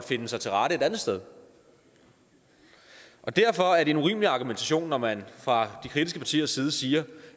finde sig til rette et andet sted derfor er det en urimelig argumentation når man fra de kritiske partiers side siger